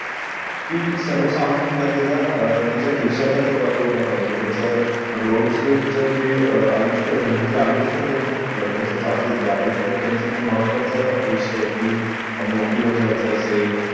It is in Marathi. कि सर्वसामान्य जनतेला अह त्याच्या खिश्याला ते परवडलं पाहिजे त्याच्या रोजच जे आयुष्य म्हणजे आयुष्य त्यांचं चालू आहे आयुष्यात त्यांचं महत्वाचं विषय कि नौकरीवर जायचं असेल